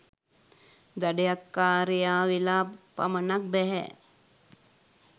දඩයක්කාරයා වෙලා පමණක් බැහැ.